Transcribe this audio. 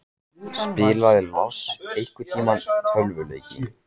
Spilaði Lars einhverntímann tölvuleiki?